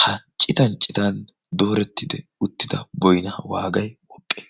ha citan citan dooretidi uuttida boynna wagay woqqe?